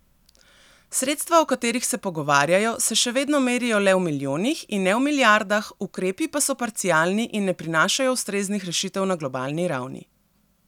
Sredstva, o katerih se pogovarjajo, se še vedno merijo le v milijonih, in ne v milijardah, ukrepi pa so parcialni in ne prinašajo ustreznih rešitev na globalni ravni.